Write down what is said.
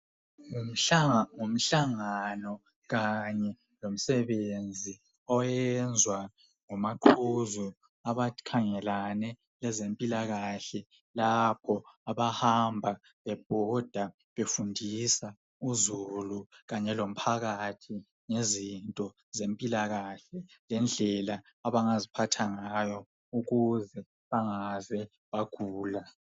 Mhla ngo mhlangano kanye lomsebenzi oyenzwa ngomaqhuzu abakhangelane lwezempilakahle lapho abahamba bebhoda befundisa uzulu kanye lomphakathi ngezinto zempilakahle lengendlela abangaziphatha ngayo ukuze bangaze bagula